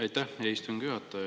Aitäh, hea istungi juhataja!